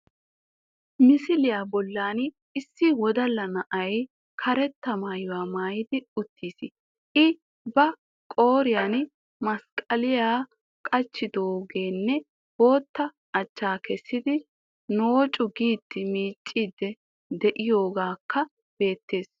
Misiliya bollan issi wodalla na"ay karetta maayuwa maayidi uttiis.I ba qooriyan masqqaliya qachchidoogeenne bootta achchaa kessidi noocu giidi miicciiddi de'iyogeekka beettees